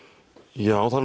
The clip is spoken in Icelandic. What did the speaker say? já það